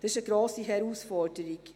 Das ist eine grosse Herausforderung.